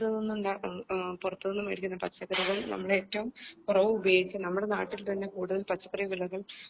പുറത്തുനിന്നുണ്ടാക്കു പുറത്തുനിന്നും വേടിക്കുന്ന പച്ചക്കറികൾ നമ്മൾ ഏറ്റവും കുറവ് ഉപയോഗിക്കുക നമ്മൾ നാട്ടിൽ തന്നെ കൂടുതൽ പച്ചക്കറി വിളകൾ